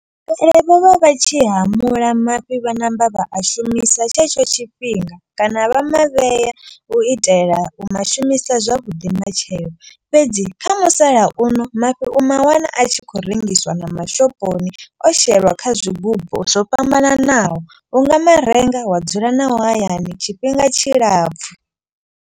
Vho vha vha tshi hamula mafhi vha ṋamba vha a shumisa tshetsho tshifhinga. Kana vha mavhea u itela u ma shumisa zwavhuḓi matshelo. Fhedzi kha musala uno mafhi u mawana a tshi khou rengiswa na mashoponi. O shelwa kha zwigubu zwo fhambananaho unga marenga wa dzula nao hayani tshifhinga tshilapfhu.